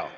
Aga